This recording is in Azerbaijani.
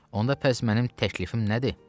Onda pəs mənim təklifim nədir?